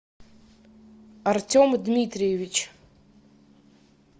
артем дмитриевич